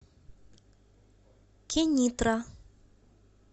кенитра